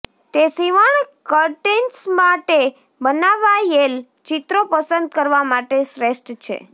તે સીવણ કર્ટેન્સ માટે બનાવાયેલ ચિત્રો પસંદ કરવા માટે શ્રેષ્ઠ છે